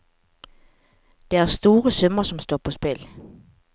Det er store summer som står på spill.